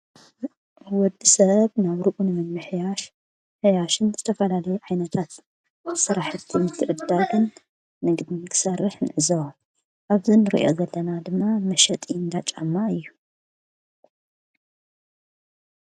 ወዲ ሰብ ናብርኡ ንምምሕያሽ ዝተፈላለይ ዓይይነታት ሠራሕቲ ምትዕድዳግን ንምስራሕ ንዕዝዋ ኣብዚ እንርዮ ዘለና ድማ መሸጢ እንዳጫማ እዩ።